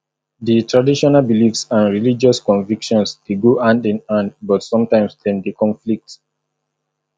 di traditional beliefs and religious convictions dey go hand in hand but sometimes dem dey conflict